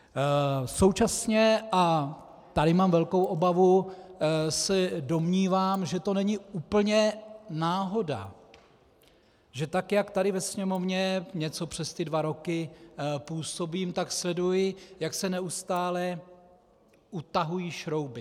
Současně, a tady mám velkou obavu, se domnívám, že to není úplně náhoda, že tak jak tady ve Sněmovně něco přes ty dva roky působím, tak sleduji, jak se neustále utahují šrouby.